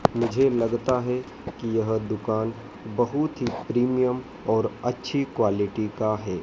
मुझे लगता है कि यह दुकान बहुत ही प्रीमियम और अच्छी क्वालिटी का है।